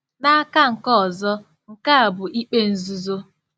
N'aka nke ọzọ, nke a bụ ikpe nzuzo.